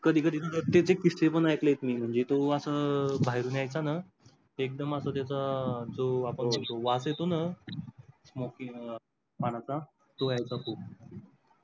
कधी कधी त्याचे किस्से पण ऐकलेत मी म्हणजे तो असा बाहेरून येईचा ना एक्दम असा त्याचा जो आपण बोलतो ना वास येतो ना smoke किंवा पानाचा तो येईचा खूप.